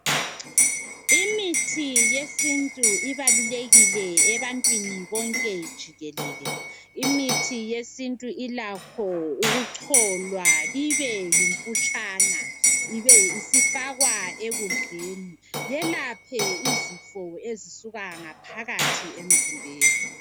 Imithi yesintu ibalulekile ebantwini bonke jikelele imithi yesintu ilakho ukucolwa ibeyimputshana ibe isifakwa ekudleni yelaphe izifo ezisuka ngaphakathi emzimbeni.